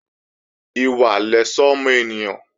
Ìwà lẹ̀ṣọ́ ọmọ ènìyàn